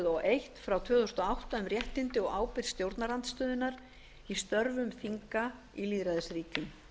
og eitt tvö þúsund og átta um réttindi og ábyrgð stjórnarandstöðunnar í störfum þinga í lýðræðisríkjum